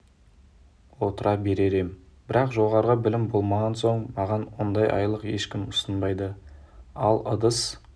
отыра берер ем бірақ жоғары білім болмаған соң маған ондай айлық ешкім ұсынбайды ал ыдыс